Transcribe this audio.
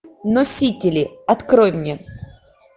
носители открой мне